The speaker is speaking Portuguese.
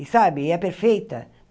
E sabe e é perfeita.